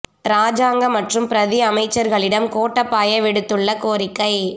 இராஜாங்க மற்றும் பிரதி அமைச்சர்களிடம் கோட்டாபய விடுத்துள்ள கோரிக்கை